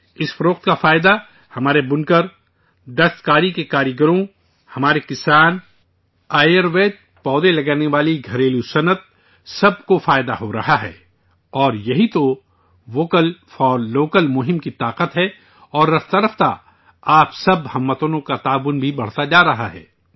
اس فروخت کا فائدہ ہمارے بُنکر، دستکاری کے کاریگر، ہمارے کسان، آیورویدک پودے لگانے والی دیہی صنعت سب کو فائدہ حاصل ہو رہا ہے، اور، یہی تو، 'ووکل فار لوکل' مہم کی طاقت ہے اور دھیرے دھیرے آپ تمام اہل وطن کی حمایت بھی بڑھتی جا رہی ہے